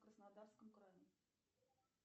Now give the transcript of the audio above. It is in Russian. в краснодарском крае